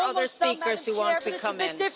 There are other speakers who want to come in.